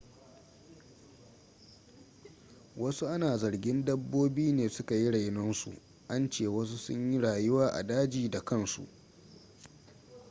wasu ana zargin dabbobi ne suka yi rainon su an ce wasu sun yi rayuwa a daji da kansu